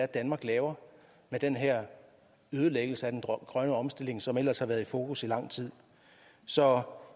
danmark laver med den her ødelæggelse af den grønne omstilling som ellers har været i fokus i lang tid så